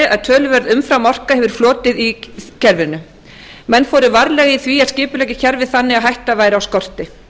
að töluverð umframorka hefur flotið í kerfinu menn fóru varlega í því að skipuleggja kerfið þannig að hætta væri á skorti